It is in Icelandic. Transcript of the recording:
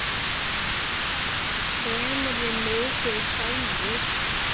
Semurðu mikið sjálfur?